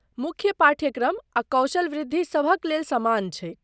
मुख्य पाठ्यक्रम आ कौशल वृद्धि सभक लेल समान छैक।